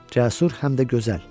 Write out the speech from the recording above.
Cəsur, həm də gözəl.